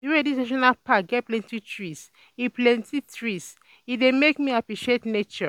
the wey this national pack get plenty trees, e plenty trees, e dey make me appreciate nature um